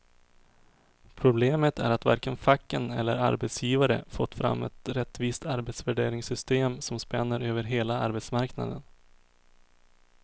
Problemet är att varken facken eller arbetsgivare fått fram ett rättvist arbetsvärderingssystem som spänner över hela arbetsmarknaden.